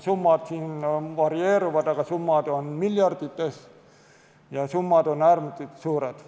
Summad varieeruvad, aga nad on miljardites, äärmiselt suured.